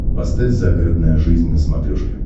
поставь загородная жизнь на смотрешке